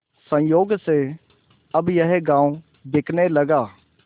संयोग से अब यह गॉँव बिकने लगा